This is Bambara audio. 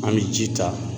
An bɛ ji ta